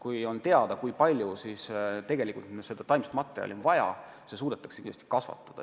Kui on teada, kui palju meil taimi vaja on, siis need suudetakse ka kasvatada.